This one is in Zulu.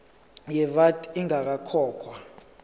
ye vat ingakakhokhwa